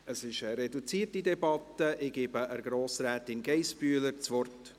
Es ist eine reduzierte Debatte, ich gebe Grossrätin Geissbühler das Wort.